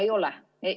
Ei ole.